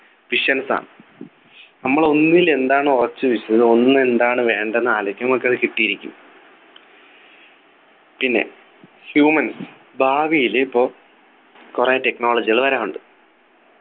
Visions ആണ് നമ്മൾ ഒന്നിൽ എന്താണ് ഉറച്ചു വിശ്വസിത് ഒന്ന് എന്താണ് വേണ്ടതെന്നു ആലോചിക്ക നമുക്കത് കിട്ടിയിരിക്കും പിന്നെ humans ഭാവിയിൽ ഇപ്പൊ കുറെ technology കൾ വരാനുണ്ട്